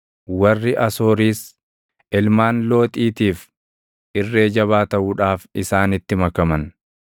Warri Asooriis, ilmaan Looxiitiif irree jabaa taʼuudhaaf isaanitti makaman.